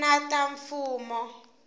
ti nga ri ta mfumo